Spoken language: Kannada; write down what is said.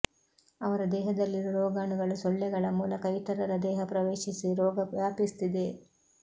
ಅವರ ದೇಹದಲ್ಲಿರುವ ರೋಗಾಣುಗಳು ಸೊಳ್ಳೆಗಳ ಮೂಲಕ ಇತರರ ದೇಹ ಪ್ರವೇಶಿಸಿ ರೋಗ ವ್ಯಾಪಿಸುತ್ತಿದೆ